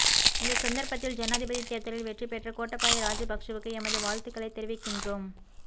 இந்த சந்தர்ப்பத்தில் ஜனாதிபதி தேர்தலில் வெற்றி பெற்ற கோட்டாபய ராஐபக்ஷவுக்கு எமது வாழ்த்துக்களை தெரிவிக்கின்றோம்